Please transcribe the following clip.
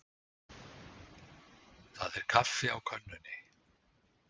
Það er kaffi á könnunni.